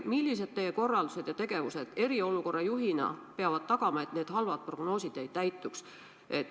Millised teie kui eriolukorra juhi korraldused ja tegevused peavad tagama, et need halvad prognoosid ei täituks?